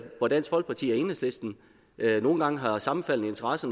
hvor dansk folkeparti og enhedslisten nogle gange har sammenfaldende interesser